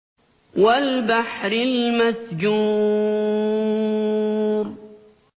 وَالْبَحْرِ الْمَسْجُورِ